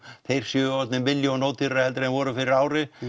séu orðnir milljón ódýrari heldur en þeir voru fyrir ári